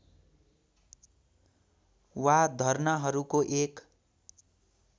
वा धर्नाहरूको एक